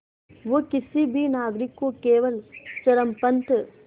वो किसी भी नागरिक को केवल चरमपंथ